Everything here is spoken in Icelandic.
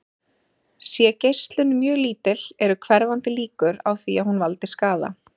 Sé geislun mjög lítil eru hverfandi líkur á því að hún valdi skaða.